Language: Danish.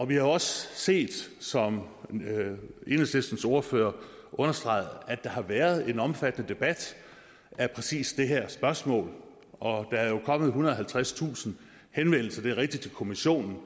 vi har også set som enhedslistens ordfører understregede at der har været en omfattende debat af præcis det her spørgsmål og der er jo kommet ethundrede og halvtredstusind henvendelser det er rigtigt til kommissionen